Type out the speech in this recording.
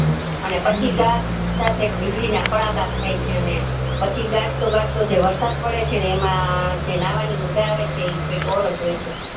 અને પછી ગાજ સાથે વીજળી ના કડાકા થાય છે અને પછી ગાજતો ગાજ તો તે વરસાદ પડે છે એમાં જે નવની મજા આવે છે ઈ કૈક ઓર જ હોય છે